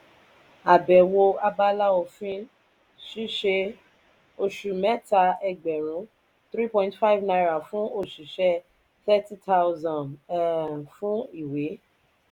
abewo abala òfin ṣiṣẹ oṣù mẹta ẹgbẹrun three point five naira fún oṣiṣẹ thirty thousand um fún ìwé.